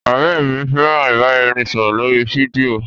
Ọrẹ mi fẹran ibaraẹnisọrọ lori fidio.